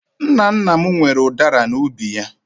Nna nna m nwere udara n'ala ubi ya.